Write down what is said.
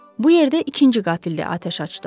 Bu yerdə ikinci qatildə atəş açdı.